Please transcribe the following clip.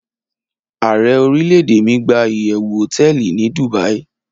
Aare orilede mi gba iyewu hoteeli ni Dubai